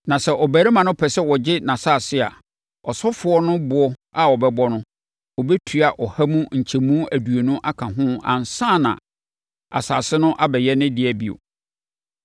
Na sɛ ɔbarima no pɛ sɛ ɔgye nʼasase a, ɔsɔfoɔ no boɔ a ɔbɛbɔ no, ɔbɛtua ɔha mu nkyɛmu aduonu aka ho ansa na asase no abɛyɛ ne dea bio.